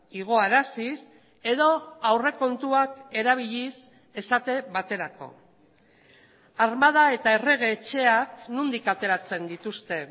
igoaraziz edo aurrekontuak erabiliz esate baterako armada eta errege etxeak nondik ateratzen dituzte